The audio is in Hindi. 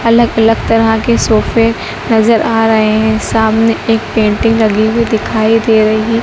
अलग अलग तरह के सोफे नजर आ रहे हैं सामने की तरफ एक पेंटिंग लगी हुई दिखाई दे रही।